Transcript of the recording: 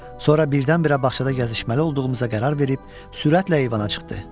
Sonra birdən-birə bağçada gəzişməli olduğumuza qərar verib, sürətlə eyvana çıxdı.